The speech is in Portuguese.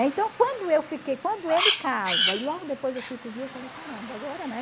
Então, quando eu fiquei, quando ele casa e logo depois eu fico viúva, eu falei, caramba, agora, né?